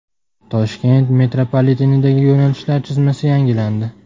Toshkent metropolitenidagi yo‘nalishlar chizmasi yangilandi.